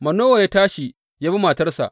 Manowa ya tashi ya bi matarsa.